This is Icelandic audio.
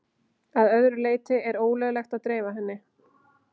Að öðru leyti er ólöglegt að dreifa henni.